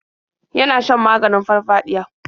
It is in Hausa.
Yana shan maganin farfaɗiya.